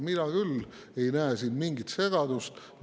Mina küll ei näe siin mingit segadust.